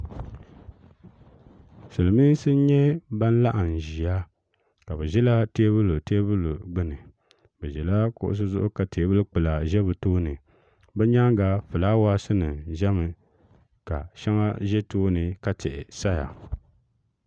silmiinsi n nyɛ ban laɣam ʒiya ka bi ʒila teebuli gbuni ni ʒila kuɣusi zuɣu ka teebuli kpula ʒɛ bi tooni bi nyaanga fulaawaasi nim ʒɛmi ka shɛŋa ʒɛ tooni ka tihi saya